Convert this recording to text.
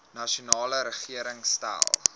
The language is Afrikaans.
nasionale regering stel